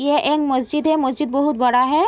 ये एक मस्जिद है। मस्जिद बहुत बड़ा है।